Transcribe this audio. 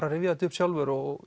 að rifja þetta upp sjálfur og